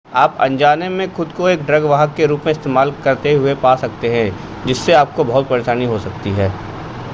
आप अनजाने में खुद को एक ड्रग वाहक के रूप में इस्तेमाल करते हुए पा सकते हैं जिससे आपको बहुत परेशानी हो सकती है